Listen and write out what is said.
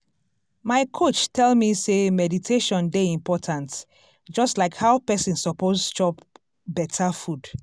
my coach tell me sey meditation dey important just like how person suppose chop beta food.